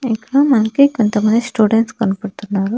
ఇక్కడ మనకి కొంతమంది స్టూడెంట్స్ కనపడ్తున్నారు.